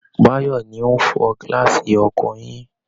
Báyọ̀ ni ó ń fọ gílásì ọkọ̀ yín